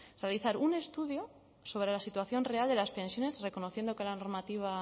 realizar un estudio sobre la situación real de las pensiones reconociendo que la normativa